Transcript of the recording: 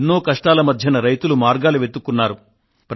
ఎన్నో కష్టాల మధ్య రైతులు మార్గాలు వెతుక్కున్నారు